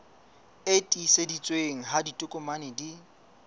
e tiiseditsweng ha ditokomane di